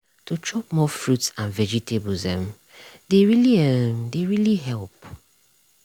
to chop more fruits and vegetables uhm dey really uhm dey really help